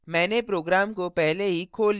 मैंने program को पहले ही खोल लिया है